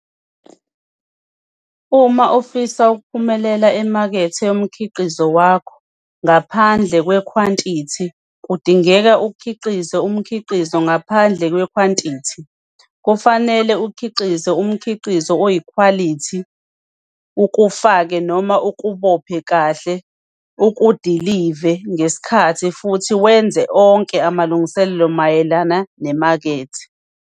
Uma ufisa ukuphumelela emakethe yomkhiqizo wakho - ngaphandle kwekhwantithi - kudingeka ukhiqize umkhiqizo ngaphandle kwekhwantithi - kufanele ukhiqize umkhiqizo oyikhwalithi, ukufake noma ukubophe kahle, ukudilive ngesikhathi, futhi uwenze onke amalungiselelo mayelana nemakethe.